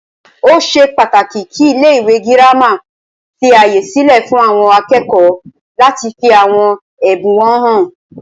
Ó ṣe pàtàkì kí ilé ìwé gírámà fí ààyè sílẹ fún àwọn akẹ́kọ̀ọ́ láti fí àwọn ẹbùn wọn hàn.